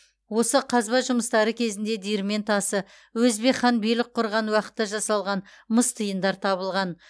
осы қазба жұмыстары кезінде диірмен тасы өзбек хан билік құрған уақытта жасалған мыс тиындар табылған